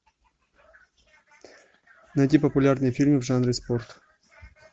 найти популярные фильмы в жанре спорт